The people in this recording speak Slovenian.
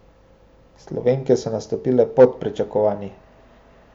Slovenke so nastopile pod pričakovanji.